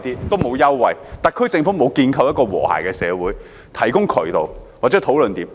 特區政府沒有建構一個和諧的社會，提供渠道或討論點。